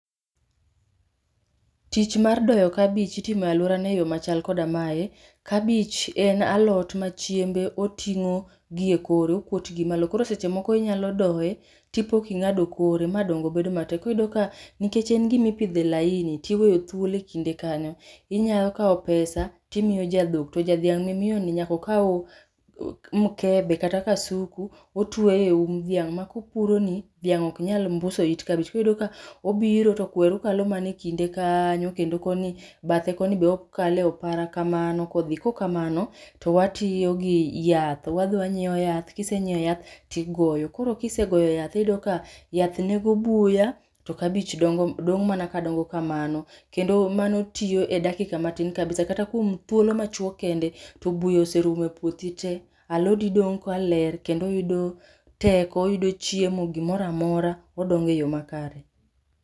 Tich mar doyo kabich itimo e alwora no e yo machalo kamae: kabich en alot ma chiembe oting'o gi e kore, okuot gi malo. Koro seche moko inyalo doye, tipo king'ado kore ma dongo bedo matek, koriyudo ka nikech en gimipidhe laini tiweyo thuolo e kinde kanyo. Inyalo kawo pesa timiyo ja dhok, to jadhiang' mimiyo ni nyakokaw mkebe kata kasuku. Otweyo e um dhiang' ma kopuro ni, dhiang' ok nyal mbuso it kabich. Koriyudo ka obiro to kweru kalo manekinde kanyo, kendo koni bathe koni be okale opara ka mano kodhi. Kokamano to watiyo gi yath, kisenyiewo yath tigoyo. Koro kisegoyo yath iyudo ka yath nego buya to kabich dongo dong' mana ka dongo kamano. Kendo mano tiyo e dakika matin kabisa. Kata kuom thuolo machuok kende, to buya oserumo e puothi te. Alodi dong' ka ler kendo oyudo teko, oyudo chiemo, gimoramora odonge yo makare.